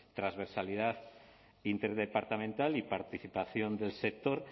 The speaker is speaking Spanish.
transversalidad interdepartamental y participación del sector